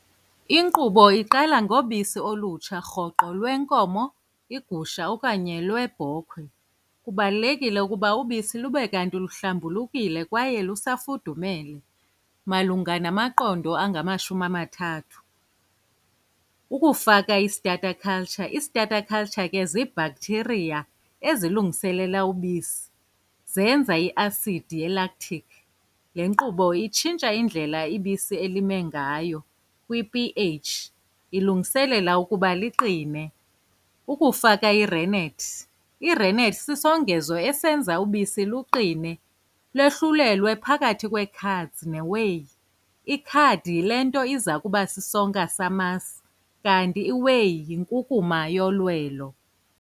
Inkqubo iqala ngobisi olutsha rhoqo lwenkomo, igusha, okanye lwebhokhwe. Kubalulekile ukuba ubisi lube kanti luhlambulukile kwaye lusafudumele malunga namaqondo angamashumi amathathu. Ukufaka i-starter culture, i-starter culture ke ziibhakthiriya ezilungiselela ubisi, zenza iasidi yelaktikhi. Le nkqubo itshintsha indlela ibisi elime ngayo kwi-p_H, ilungiselela ukuba liqine. Ukufaka irenethi, irenethi sisongezo esenza ubisi luqine, lohlulelwe phakathi kwee-curds ne-whey. I-curd yile nto iza kuba sisonka samasi, kanti i-whey yinkunkuma yolwelo.